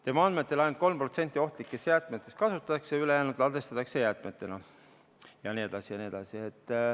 Tema andmetel ainult 3% ohtlikke jäätmeid kasutatakse, ülejäänud ladestatakse jäätmetena.